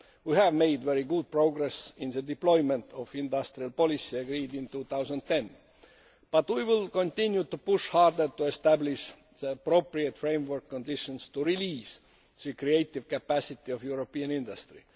We have made very good progress in the deployment of industrial policy agreed in 2010. We will continue to push harder to establish the appropriate framework conditions to release the creative capacity of European industry.